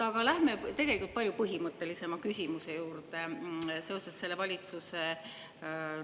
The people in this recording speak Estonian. Aga lähme palju põhimõttelisema küsimuse juurde seoses valitsuse, kuidas ma ütlen …